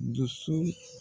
doso